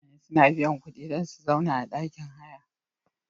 Mutane suna biya kuɗi dan su sauna a ɗakin haya.